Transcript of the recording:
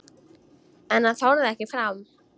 En hann þorði ekki fram.